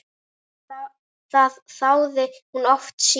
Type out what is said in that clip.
Það þáði hún oft síðar.